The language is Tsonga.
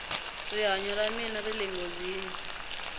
rihanyo ra mina rile nghozini